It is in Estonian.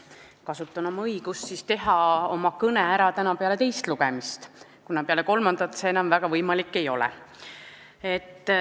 Kasutan oma õigust pidada oma kõne ära täna peale teist lugemist, kuna peale kolmandat lugemist see enam väga võimalik ei ole.